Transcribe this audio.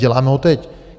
Děláme ho teď.